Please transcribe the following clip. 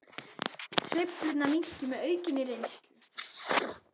Sveiflurnar minnki með aukinni reynslu